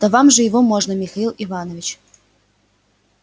да вам его можно михаил иванович